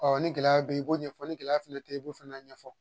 ni gɛlɛya be yen i b'o ɲɛfɔ ni gɛlɛya fɛnɛ tɛ i b'o fana ɲɛfɔ